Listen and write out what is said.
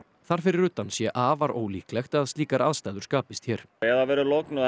þar fyrir utan sé afar ólíklegt að slíkar aðstæður skapist hér ef það verður logn og